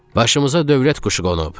"Başımıza dövlət quşu qonub."